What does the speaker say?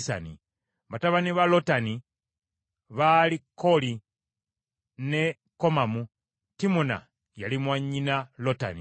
Batabani ba Lotani baali Kooli, ne Komamu; Timuna yali mwannyina Lotani.